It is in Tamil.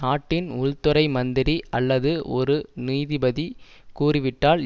நாட்டின் உள் துறை மந்திரி அல்லது ஒரு நீதிபதி கூறிவிட்டால்